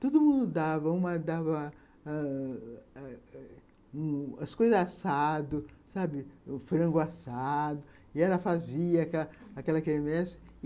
Todo mundo dava, uma dava ãh as coisas assadas, sabe, o frango assado, e ela fazia aquela quermesse.